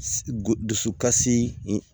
Du dusukasi